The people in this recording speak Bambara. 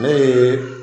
Ne ye